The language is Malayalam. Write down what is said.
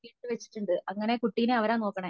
വെച്ചിട്ടുണ്ട് അങ്ങനെ കുട്ടിനെ അവരാ നോക്കണേ.